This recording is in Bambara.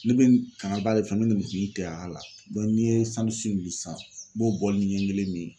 Ne bɛ kankaliba de fɛ n'i ye min sisan n b'o bɔlini ɲɛ kelen min.